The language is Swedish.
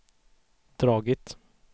dragit